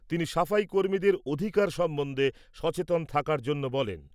তিনি সাফাই কর্মীদের অধিকার সম্বন্ধে সচেতন থাকার জন্য বলেন।